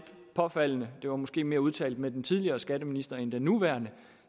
påfaldende det var måske mere udtalt med den tidligere skatteminister end den nuværende